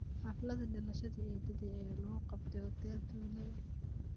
Xaflada dhalashada eedaday ayaa lagu qabtay hotel tule